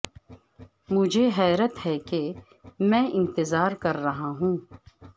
مجھے حیرت ہے کہ میں انتظار کر رہا ہوں